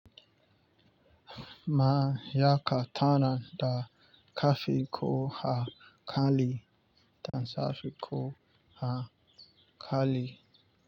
Ma ya katana da kafiko hakali da safiko hakali.